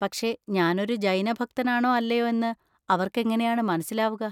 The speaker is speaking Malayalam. പക്ഷെ ഞാനൊരു ജൈന ഭക്തനാണോ അല്ലയോ എന്ന് അവർക്കെങ്ങനെയാണ് മനസ്സിലാവുക?